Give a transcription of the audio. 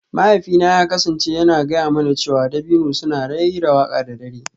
Mahaifina ya kasance yana gaya mana cewa dabino suna raira waƙa da dare